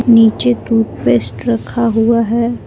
नीचे toothpaste रखा हुआ है।